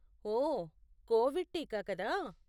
ఓ, Covid టీకా కదా?